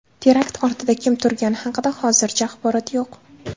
Terakt ortida kim turgani haqida hozircha axborot yo‘q.